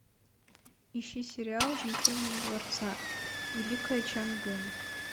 ищи сериал жемчужина дворца великая чан гым